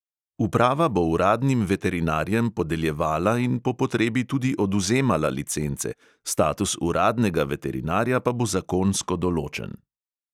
Uprava bo uradnim veterinarjem podeljevala in po potrebi tudi odvzemala licence, status uradnega veterinarja pa bo zakonsko določen.